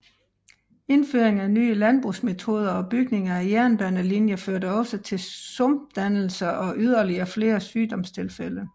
Indføring af nye landbrugsmetoder og bygning af jernbanelinjer førte også til sumpdannelse og yderligere flere sygdomstilfælde